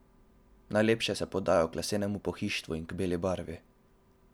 Najlepše se podajo k lesenemu pohištvu in k beli barvi.